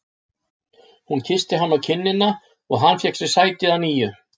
Hún kyssti hann á kinnina og hann fékk sér sæti að nýju.